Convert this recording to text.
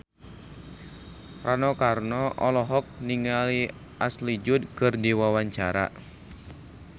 Rano Karno olohok ningali Ashley Judd keur diwawancara